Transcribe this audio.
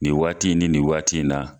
Nin waati ni nin waati in na.